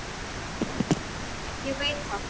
Ég veit það